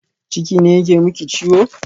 Ciki ne yake miki ciwo?